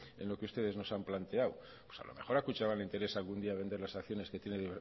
en lo que ustedes nos han planteado pues a lo mejor a kutxabank le interesa algún día vender las acciones que tiene de